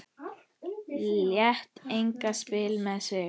Lét engan spila með sig.